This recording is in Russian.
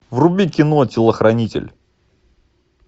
вруби кино телохранитель